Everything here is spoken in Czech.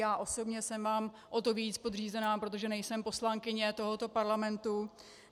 Já osobně jsem vám o to víc podřízená, protože nejsem poslankyně tohoto parlamentu.